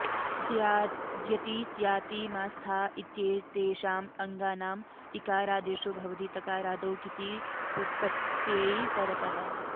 द्यति स्याति मा स्था इत्येतेषाम् अङ्गानाम् इकारादेशो भवति तकारादौ किति प्रत्यये परतः